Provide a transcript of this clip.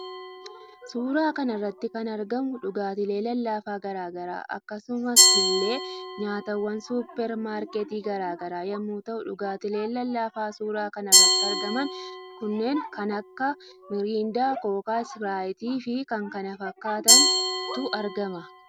Suuraa kanarratti kan argamu dhugaatiilee lallaafa garaa garaa akkasumas ille nyaatawwan suupermaarkeetii garaa garaa yommuu ta'u dhugaatiileen lallaafa suura kanarratti argaman kunneen kan Akka miriindaa, kookaa, ispiraayitii fi kan kana fakkatantu argama.